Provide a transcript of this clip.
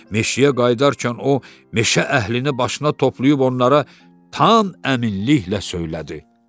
Meşəyə qayıdarkən o meşə əhlini başına toplayıb onlara tam əminliklə söylədi: